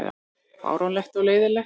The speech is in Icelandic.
Fáránlegt og leiðinlegt